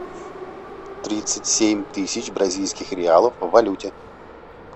тридцать семь тысяч бразильских реалов в валюте